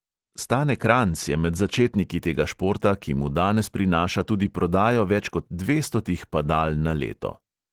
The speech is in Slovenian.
Stane kranjc je med začetniki tega športa, ki mu danes prinaša tudi prodajo več kot dvestotih padal na leto.